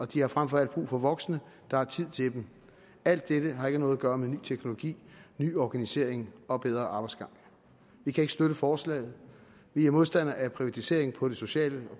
de har frem for alt brug for voksne der har tid til dem alt dette har ikke noget at gøre med ny teknologi ny organisering og bedre arbejdsgange vi kan ikke støtte forslaget vi er modstandere af privatisering på det sociale